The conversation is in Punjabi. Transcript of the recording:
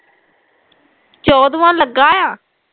ਚੋਦਵਾ ਲੱਗਾ ਆ